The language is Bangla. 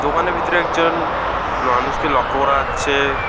দোকানের ভিতরে একজন লনুষকে লক্ষ করা যাচ্ছে।